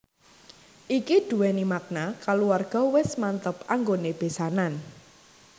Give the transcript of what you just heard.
Iki duweni makna kaluwarga wis mantep anggonené besanan